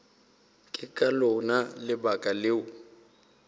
ke ka lona lebaka leo